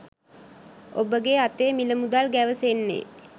ඔබගේ අතේ මිල මුදල් ගැවසෙන්නේ